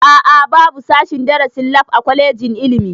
A'a babu sashen darasin lab a kwalejin ilimi